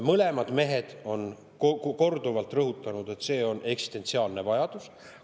Mõlemad mehed on korduvalt rõhutanud, et see on eksistentsiaalne vajadus.